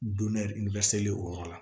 Donniso yɔrɔ la